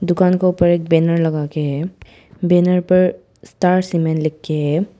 दुकान के ऊपर एक बैनर लगा के है बैनर पर स्टार सीमेंट लिख के है।